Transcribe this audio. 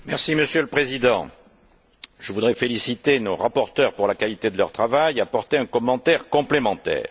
Monsieur le Président, je voudrais féliciter nos rapporteurs pour la qualité de leur travail et apporter un commentaire complémentaire.